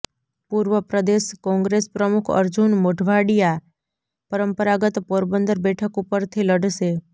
પૂર્વ પ્રદેશ કોંગ્રેસ પ્રમુખ અર્જુન મોઢવાડિયા પરંપરાગત પોરબંદર બેઠક ઉપરથી લડશે